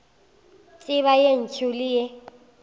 tseba ye ntsho le ye